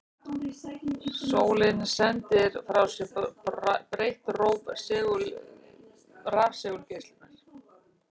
Sólin sendir frá sér breitt róf rafsegulgeislunar.